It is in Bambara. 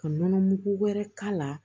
Ka nɔnɔ mugu wɛrɛ k'a la